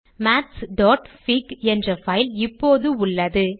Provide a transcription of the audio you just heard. mathsபிக் என்ற பைல் இப்போது உள்ளது